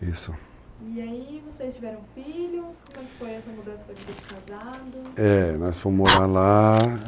Isso. E aí vocês tiveram filhos? como é que foi essa mudança para a vida de casados? é, nós fomos morar lá,